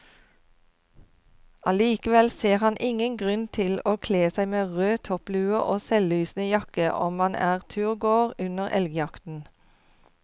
Allikevel ser han ingen grunn til å kle seg med rød topplue og selvlysende jakke om man er turgåer under elgjakten.